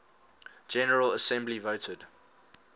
general assembly voted